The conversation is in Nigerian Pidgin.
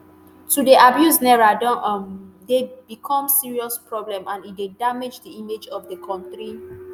“to dey abuse naira don um dey become serious problem and e dey damage di image of di kontri.